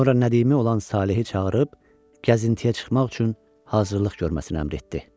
Sonra Nədimi olan Salehi çağırıb, gəzintiyə çıxmaq üçün hazırlıq görməsinə əmr etdi.